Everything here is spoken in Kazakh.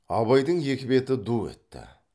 абайдың екі беті ду етті